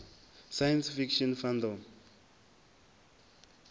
science fiction fandom